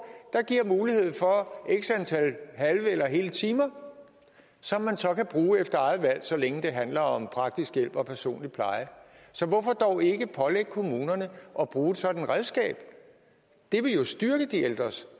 der giver mulighed for x antal halve eller hele timer som man så kan bruge efter eget valg så længe det handler om praktisk hjælp og personlig pleje så hvorfor dog ikke pålægge kommunerne at bruge et sådant redskab det ville jo styrke de ældres